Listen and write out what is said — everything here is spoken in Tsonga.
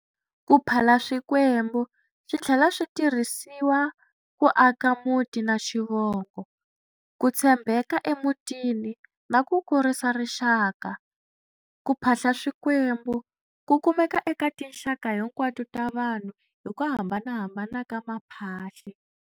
Kuphala swikwembu, swithlela swi tirhisiwa ku aka muti na xivongo, kutshembeka emutini na ku ku kurisa rixaka. Kuphahla swikwembu, ku kumeka eka tinxaka hinkwato ta vanhu hi ku hambanahambana ka ma phahle.